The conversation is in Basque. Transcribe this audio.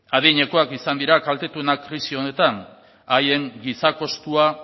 adinekoak izan dira kaltetuenak krisi honetan haien giza kostua